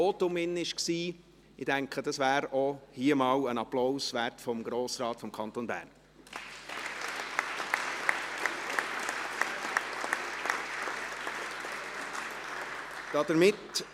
Ich denke, das wäre hier auch einmal einen Applaus des Grossen Rates des Kantons Bern wert.